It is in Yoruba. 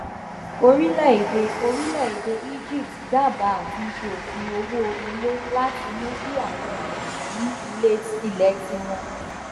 orílẹèdè orílẹèdè egypt dábàá àtúnṣe òfin owó ilé láti mú kí àwọn èèyàn ní ilé tiwọn